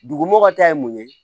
Dugumɔw ka ta ye mun ye